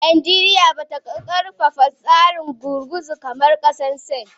Najeriya ba ta karfafa tsarin gurguzu kamar kasar Sin.